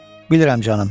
Bilirəm canım.